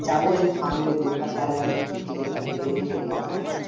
যাবো এই সামনের বুধবার তাহলে আমি টিকিট টা কেটে নিয়ে চলেযাবো হ্যাঁ?